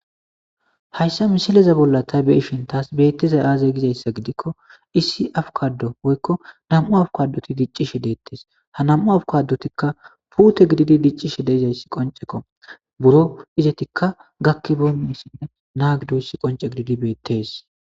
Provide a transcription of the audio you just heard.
Hayssa missileza ta beishin tasi bettizay aaze gizayssa giddikko issi abbokado woykko nam'u abbokadoti diccishshe dettes ha nam7u abbokadotika puute gididi diccishe deizayssi qoncceko buuro izzeti gakkibeynayssine na'a giddidayssi qoncce gididi bettes.